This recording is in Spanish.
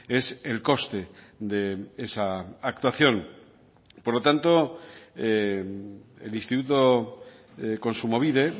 es el coste de esa actuación por lo tanto el instituto kontsumobide